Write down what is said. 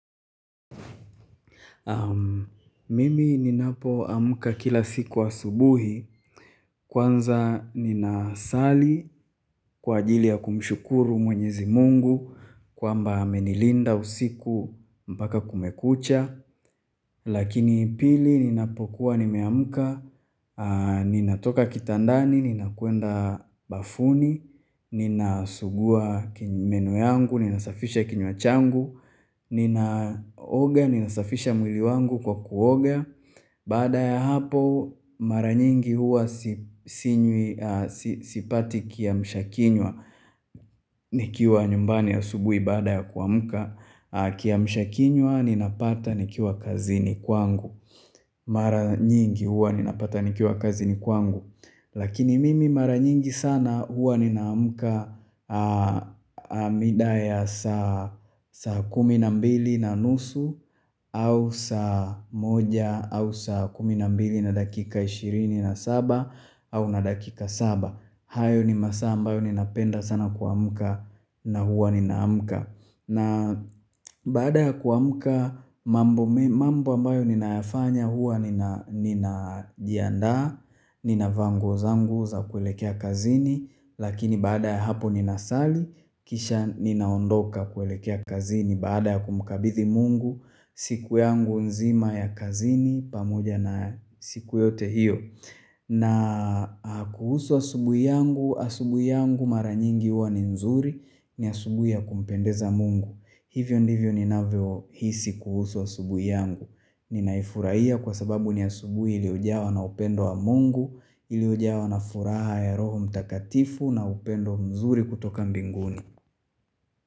Mimi ninapoamuka kila siku asubuhi Kwanza ninasali kwa ajili ya kumshukuru mwenyezi mungu kwamba amenilinda usiku mpaka kumekucha Lakini pili ninapokuwa nimeamuka Ninatoka kitandani, ninakwenda bafuni Ninasugua meno yangu, ninasafisha kinywa changu Ninaoga, ninasafisha mwili wangu kwa kuoga Baada ya hapo mara nyingi huwa sipati kiamshakinywa Nikiwa nyumbani asubuhi baada ya kuamuka Kiamshakinwa ninapata nikiwa kazini kwangu Maranyingi huwa ninapata nikiwa kazini kwangu Lakini mimi mara nyingi sana huwa ninaamuka mida ya saa kumi na mbili na nusu au saa moja au saa kumi na mbili na dakika ishirini na saba au na dakika saba. Hayo ni masaa ambayo ninapenda sana kuamuka na huwa ninaamuka. Na baada ya kuamuka mambo ambayo ninayafanya hua ninajiandaa, ninavaa nguo zangu za kuelekea kazini, lakini baada ya hapo ninasali, kisha ninaondoka kuelekea kazini baada ya kumkabithi mungu, siku yangu nzima ya kazini, pamoja na siku yote hiyo. Na kuhusu asubuhi yangu, asubuhi yangu mara nyingi huwa ni nzuri ni asubuhi ya kumpendeza mungu Hivyo ndivyo ninavyo hisi kuhusu asubuhi yangu Ninaifurahia kwa sababu ni asubuhi iliojawa na upendo wa mungu Iliojawa na furaha ya roho mtakatifu na upendo mzuri kutoka mbinguni.